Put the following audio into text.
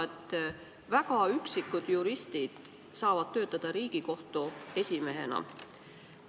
Nimelt, väga üksikud juristid saavad töötada Riigikohtu esimehena.